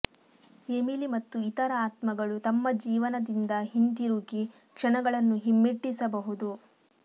Emily ಮತ್ತು ಇತರ ಆತ್ಮಗಳು ತಮ್ಮ ಜೀವನದಿಂದ ಹಿಂತಿರುಗಿ ಕ್ಷಣಗಳನ್ನು ಹಿಮ್ಮೆಟ್ಟಿಸಬಹುದು